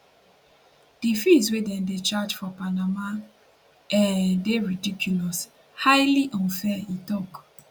di fees wey dem dey charge for panama um dey ridiculous highly unfair e tok